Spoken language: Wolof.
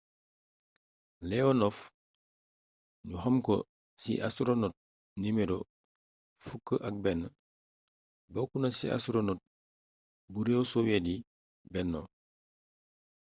leonov ñu xamko ci ‘’astoronot no. 11’’ bokkuna ci astoronot bu réew soviet yi benno